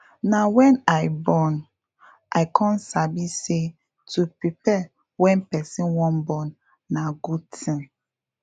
na wen i born i come sabi say to prepare wen person wan born na good thing